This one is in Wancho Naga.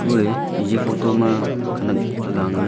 kue eja photo ma khenak aga nganley.